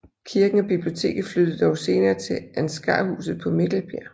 Kirken og biblioteket flyttede dog senere til Ansgarhuset på Mikkelbjerg